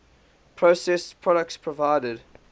processed products provided